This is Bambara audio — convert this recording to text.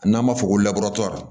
N'an b'a fɔ ko